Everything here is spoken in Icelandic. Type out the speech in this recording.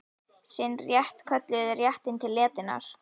Sinn rétt kölluðu þeir réttinn til letinnar.